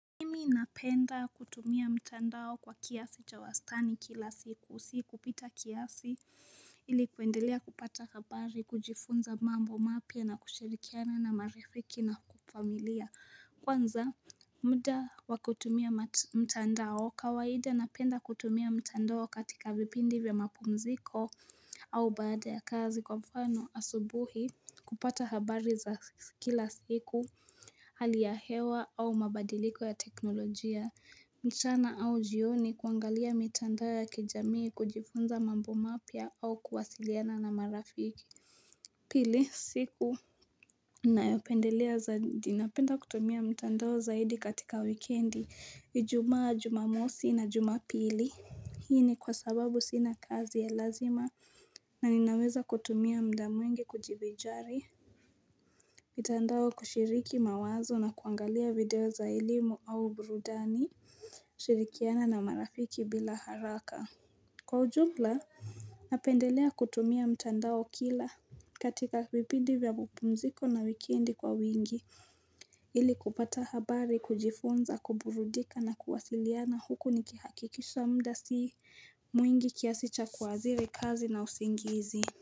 Mimi napenda kutumia mtandao kwa kiasi cha wastani kila siku, si kupita kiasi ili kuendelea kupata habari, kujifunza mambo mapya na kushirikiana na marifiki na familia. Kwanza muda wa kutumia mtandao. Kawaida napenda kutumia mtandao katika vipindi vya mapumziko au baada ya kazi, kwa mfano, asubuhi kupata habari za kila siku, hali ya hewa au mabadiliko ya teknolojia. Mchana au jioni kuangalia mitandao ya kijamii kujifunza mambo mapya au kuwasiliana na marafiki Pili, siku ninayopendelea zaidi, napenda kutumia mitandao zaidi katika wikendi ijumaa, jumamosi na jumapili. Hii ni kwa sababu sina kazi ya lazima na ninaweza kutumia muda mwingi kujivinjari mitandao, kushiriki mawazo na kuangalia video za elimu au burudani shirikiana na marafiki bila haraka. Kwa ujumla, napendelea kutumia mtandao kila katika vipindi vya mapumziko na wikendi kwa wingi ili kupata habari, kujifunza, kuburudika na kuwasiliana huku nikihakikisha muda sii mwingi kiasi cha kuathiri kazi na usingizi.